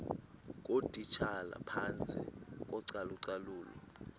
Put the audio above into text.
ngootitshala phantsi kocalucalulo